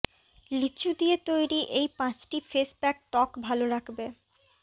লিচু দিয়ে তৈরি এই পাঁচটি ফেস প্যাক ত্বক ভাল রাখবে